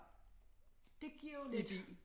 Det giver jo lidt